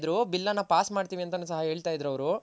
ಇದ್ರು Bill ನ Pass ಮಾಡ್ತಿವಿ ಅಂತನು ಸಹ ಹೇಳ್ತ ಇದ್ರು ಅವ್ರು